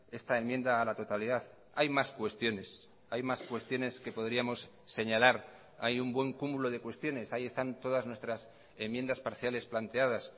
esta enmienda a la totalidad hay más cuestiones hay más cuestiones que podríamos señalar hay un buen cúmulo de cuestiones ahí están todas nuestras enmiendas parciales planteadas